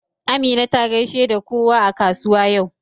Amina ta gaishe da kowa a kasuwa yau.